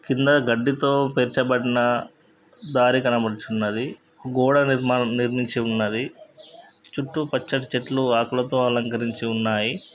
కింద గడ్డితో పేర్చబడిన దారి కనబడుచున్నది. గోడ నిర్మాణం నిర్మించి ఉన్నది. చుట్టూ పచ్చని చెట్లు ఆకులతో అలంకరించి ఉన్నాయి.